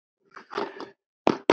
Kæra Bagga mín.